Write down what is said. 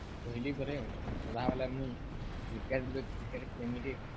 କହିଲିପରେ ମୁଇଁ ସଦା ବେଲେ କ୍ରିକେଟ ପ୍ରେମୀଟେ